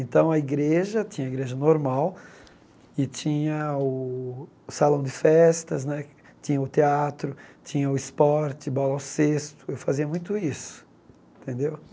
Então, a igreja, tinha igreja normal, e tinha o salão de festas né, tinha o teatro, tinha o esporte, bola ao cesto, eu fazia muito isso, tendeu?